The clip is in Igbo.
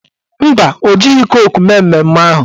Mba, o jighị koku mee mmemme ahụ